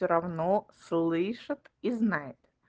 всё равно слышит и знает